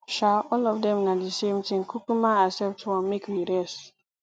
um all of dem na the same thing kukuma accept one make we rest